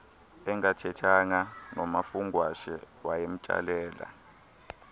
engathethanga nomafungwashe wayemtsalela